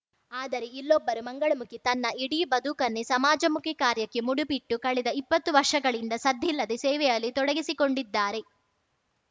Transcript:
ಆದರೆ ಇಲ್ಲೊಬ್ಬರು ಮಂಗಳಮುಖಿ ತನ್ನ ಇಡೀ ಬದುಕನ್ನೇ ಸಮಾಜಮುಖಿ ಕಾರ್ಯಕ್ಕೆ ಮುಡಿಪಿಟ್ಟು ಕಳೆದ ಇಪ್ಪತ್ತು ವರ್ಷಗಳಿಂದ ಸದ್ದಿಲ್ಲದೆ ಸೇವೆಯಲ್ಲಿ ತೊಡಗಿಸಿಕೊಂಡಿದ್ದಾರೆ